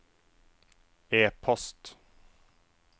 e-post